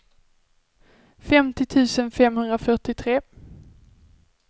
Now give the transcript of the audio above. femtio tusen femhundrafyrtiotre